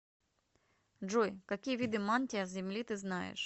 джой какие виды мантия земли ты знаешь